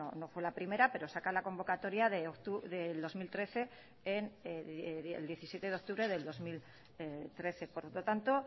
no fue la primera pero saca la convocatoria el diecisiete de octubre del dos mil trece por lo tanto